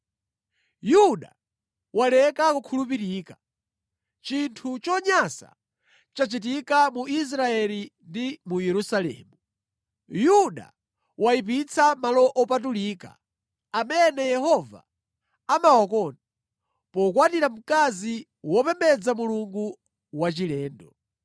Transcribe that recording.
Yuda waleka kukhulupirika. Chinthu chonyansa chachitika mu Israeli ndi mu Yerusalemu: Yuda wayipitsa malo opatulika amene Yehova amawakonda, pokwatira mkazi wopembedza mulungu wachilendo.